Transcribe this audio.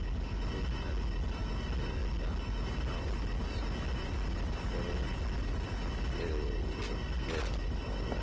Þú ferð auðvitað á skíði í fyrramálið.